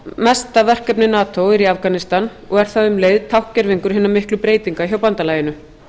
umfangsmesta verkefni nato er í afganistan og er það um leið tákngervingur hinna miklu breytinga hjá bandalaginu